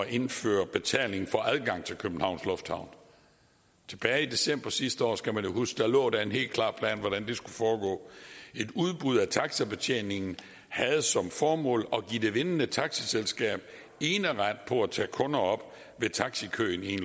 indføre betaling for adgang til københavns lufthavn tilbage i december sidste år skal man jo huske lå der en helt klar plan for hvordan det skulle foregå et udbud af taxibetjeningen havde som formål at give det vindende taxiselskab eneret på at tage kunder op ved taxikøen i